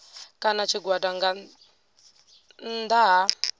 kana tshigwada nga nnḓa ha